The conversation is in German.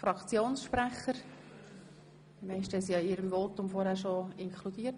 Die meisten hatten diesen bereits in ihren vorhergehenden Voten inkludiert.